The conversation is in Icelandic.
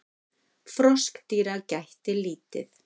Froskdýra gætti lítið.